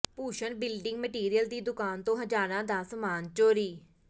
Bhushan building material ਦੀ ਦੁਕਾਨ ਤੋਂ ਹਜ਼ਾਰਾਂ ਦਾ ਸਾਮਾਨ ਚੋਰੀ